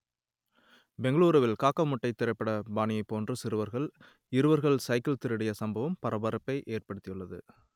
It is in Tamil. பெங்களூருவில் காக்கா முட்டை திரைப்பட பாணியைப் போன்று சிறுவர்கள் இருவர்கள் சைக்கிள் திருடிய சம்பவம் பரபரப்பை ஏற்படுத்தி உள்ளது